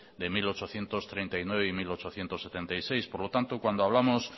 de mil ochocientos treinta y nueve y mil ochocientos setenta y seis por lo tanto cuando hablamos